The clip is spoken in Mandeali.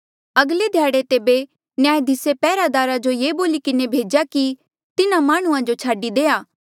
अगले ध्याड़े तेबे न्यायधिसे पैहरादारा जो ये बोली किन्हें भेज्या कि तिन्हा माह्णुंआं जो छाडी देआ